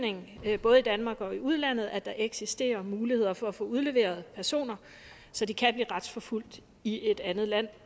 både danmark og udlandet at der eksisterer muligheder for at få udleveret personer så de kan blive retsforfulgt i et andet land